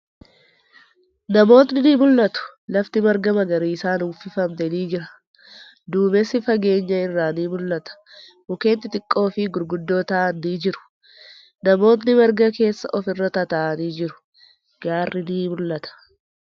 Namootni ni mul'atu. Lafti marga magariisan uwwifamte ni jira. Duumessi fageenya irraa ni mul'ata. Mukkeen xixiqqoo fi gurguddoo ta'an ni jiru. Namootni marga keessa ofirra tataa'anii jiru. Gaarri ni mul'ata.